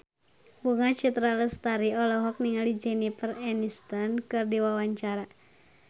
Bunga Citra Lestari olohok ningali Jennifer Aniston keur diwawancara